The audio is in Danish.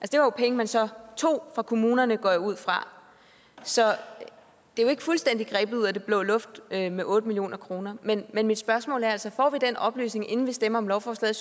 det var jo penge man så tog fra kommunerne går jeg ud fra så det er jo ikke fuldstændig grebet ud af den blå luft med med otte million kroner men mit spørgsmål er altså får vi den oplysning inden vi stemmer om lovforslaget